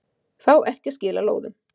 Fá ekki að skila lóðum